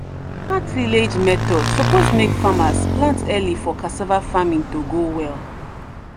tillage method suppose make farmers plant early for cassava farming to go well.